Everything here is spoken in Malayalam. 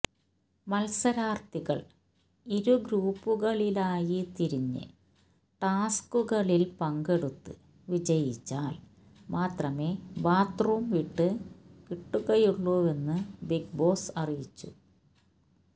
മത്സരാർഥികൾ ഇരു ഗ്രൂപ്പുകളിലായി തിരിഞ്ഞ് ടാസ്ക്കുകളിൽ പങ്കെടുത്ത് വിജയിച്ചാൽ മാത്രമേ ബാത്തു റൂം വിട്ട് കിട്ടുകയുളളുവെന്ന് ബിഗ് ബോസ് അറിയിച്ചു